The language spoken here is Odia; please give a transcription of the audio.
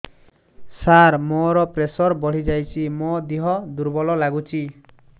ସାର ମୋର ପ୍ରେସର ବଢ଼ିଯାଇଛି ମୋ ଦିହ ଦୁର୍ବଳ ଲାଗୁଚି